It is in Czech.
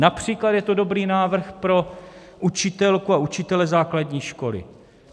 Například je to dobrý návrh pro učitelku a učitele základní školy.